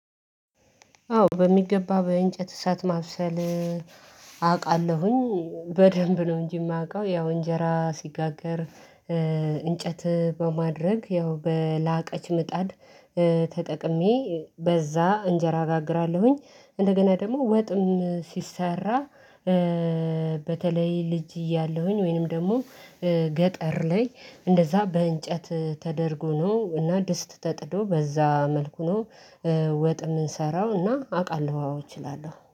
አዎ በሚገባ በእንጨት እሳት ማብሰል። አውቃለሁኝ በደንብ ነው እንጂ የማውቀው ያው እንጀራ ሲጋገር። እንጨት በማድረግ ያው በላቀች ምጣድ ተጠቅሜ በዛ እንጀራ እጋግራለሁኝ። እንደገና ደግሞ ወጥም ሲሰራ። በተለይ ልጅ እያለሁኝ ወይንም ደግሞ ገጠር ላይ እንደዛ በእንጨት ተደርጎ ነው እና ድስት ተጥዶ በዛ መልኩ ነው። ወጥ የምንሰራው እና አውቃለሁ አዎ እችላለሁ